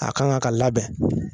A kan ŋa ka labɛn